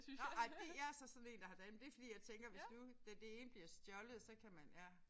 Nåh ej det jeg så sådan én dame det fordi jeg tænker hvis nu at det ene bliver stjålet så kan man ja